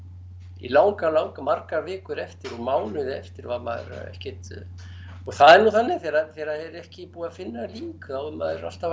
í langan langan í margar vikur eftir og mánuði eftir var maður ekkert og það er nú þannig þegar er ekki búið að finna lík þá er maður alltaf að